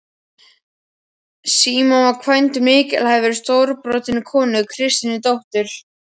Símon var kvæntur mikilhæfri og stórbrotinni konu, Kristínu, dóttur